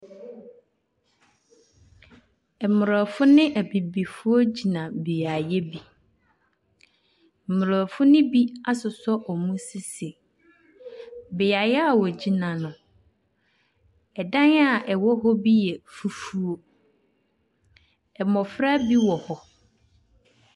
Mborɔfo ne ebibifoɔ gyina beayɛ bi. Mborɔfo ne bi asosɔ ɔmo sisi. Beayɛ wogyina no ɛdan a ɛwɔhɔ bi yɛ fufuuo . Mbɔfra bi wɔ hɔ.